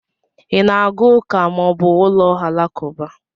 Ị na aga ụka ma ọ bụ ụlọ alakụba?